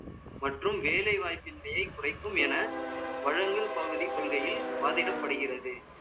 மற்றும் வேலைவாய்ப்பின்மையை குறைக்கும் என வழங்கல் பகுதி கொள்கையில் வாதிடப்படுகிறது